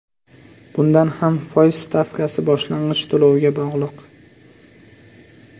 Bunda ham foiz stavkasi boshlang‘ich to‘lovga bog‘liq.